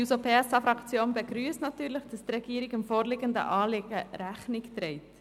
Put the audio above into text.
Die SP-JUSO-PSA-Fraktion begrüsst natürlich, dass die Regierung dem vorliegenden Anliegen Rechnung trägt.